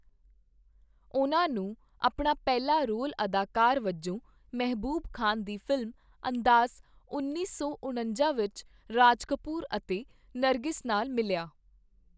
ਉਨ੍ਹਾਂ ਨੂੰ ਆਪਣਾ ਪਹਿਲਾਂ ਰੋਲ ਅਦਾਕਾਰ ਵਜੋਂ ਮਹਿਬੂਬ ਖਾਨ ਦੀ ਫ਼ਿਲਮ 'ਅੰਦਾਜ਼' ਉੱਨੀ ਸੌ ਉਣੱਜਾ ਵਿੱਚ ਰਾਜ ਕਪੂਰ ਅਤੇ ਨਰਗਿਸ ਨਾਲ ਮਿਲਿਆ